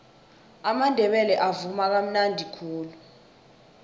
amandebele avuma kamnadi khulu